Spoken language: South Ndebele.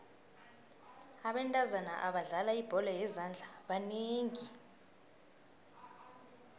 abentazana abadlala ibholo yezandla banengi